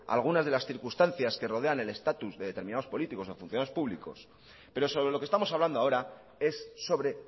algunas de las circunstancias que rodean el estatus de determinados políticos o funcionarios públicos pero sobre lo que estamos hablando ahora es sobre